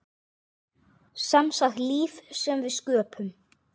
Semsagt líf sem við sköpum.